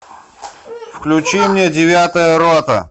включи мне девятая рота